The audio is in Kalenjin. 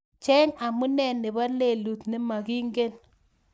Cheng amune nebo lelut nemagimagengi